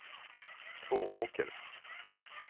Tvååker